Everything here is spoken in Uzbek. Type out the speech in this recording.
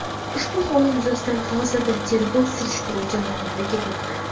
Ushbu holat yuzasidan hozirda tegrov-surishtiruv jarayonlari ketmoqda.